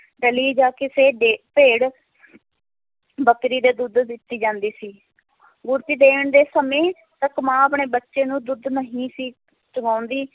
ਡਲੀ ਜਾਂ ਕਿਸੇ ਦੇ ਭੇੜ ਬੱਕਰੀ ਦੇ ਦੁੱਧ ਦਿੱਤੀ ਜਾਂਦੀ ਸੀ ਗੁੜਤੀ ਦੇਣ ਦੇ ਸਮੇਂ ਇੱਕ ਮਾਂ ਆਪਣੇ ਬੱਚੇ ਨੂੰ ਦੁੱਧ ਨਹੀਂ ਸੀ ਚੁਵਾਉਂਦੀ,